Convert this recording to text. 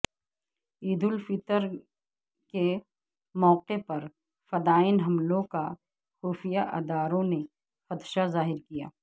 عید الفطر کے موقعے پر فدائین حملوں کا خفیہ اداروں نے خدشہ ظاہر کیا